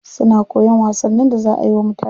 Suna koyan wasannin da za ayi wa mutane.